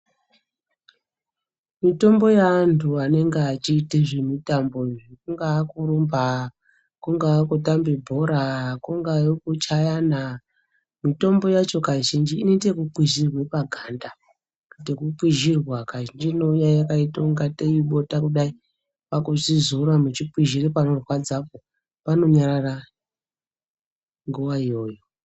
Mitombo yeantu anenge achiite zvemitambo izvi kunga kurumba, kunga kutambe bhora, kungave kuchayana mitombo yacho kazhinji inoite ekukwizhirwe paganda yekukwizhira Kazhinji inouya yakaite kungatei ibota kudai kwakuchizora muchizora panorwadzapo panonyarara nguwa iyoyo.